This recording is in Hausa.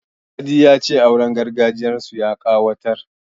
Sadi ya ce auren gargajiyarsu ya ƙayatar.